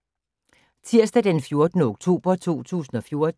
Tirsdag d. 14. oktober 2014